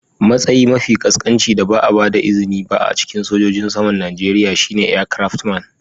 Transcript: Matsayi mafi ƙasƙanci da ba a ba da izini ba a cikin sojojin saman Najeriya shine aircraftman.